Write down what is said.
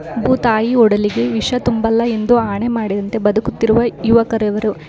ಭೂತಾಯಿ ಒಡಲಿಗೆ ವಿಷತುಂಬಲ್ಲ ಎಂದು ಆಣೆ ಮಾಡಿದಂತೆ ಬದುಕುತ್ತಿರುವ ಯುವಕರು ಇವರು .